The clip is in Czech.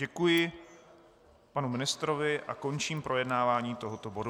Děkuji panu ministrovi a končím projednávání tohoto bodu.